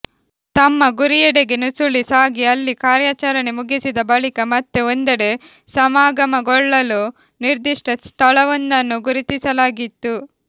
ತಮ್ಮ ಗುರಿಯೆಡೆಗೆ ನುಸುಳಿ ಸಾಗಿ ಅಲ್ಲಿ ಕಾರ್ಯಾಚರಣೆ ಮುಗಿಸಿದ ಬಳಿಕ ಮತ್ತೆ ಒಂದೆಡೆ ಸಮಾಗಮಗೊಳ್ಳಲು ನಿರ್ಧಿಷ್ಟ ಸ್ಥಳವೊಂದನ್ನು ಗುರುತಿಸಲಾಗಿತ್ತು